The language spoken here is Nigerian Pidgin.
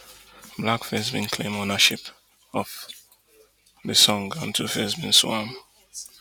blackface bin claim ownership of di song and tuface bin sue am